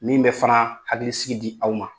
Min bɛ fana hakili sigi di aw ma